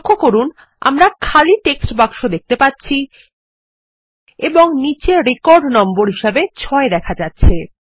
লক্ষ্য করুন আমরা খালি টেক্সট বাক্স দেখতে পাচ্ছি এবং নীচে রেকর্ড নম্বর হিসাবে ৬ দেখা যাচ্ছে